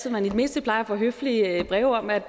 at man i det mindste plejer at få høflige breve om at